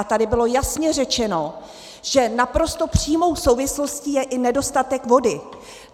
A tady bylo jasně řečeno, že naprosto přímou souvislostí je i nedostatek vody.